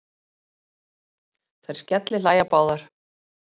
Þær skellihlæja báðar.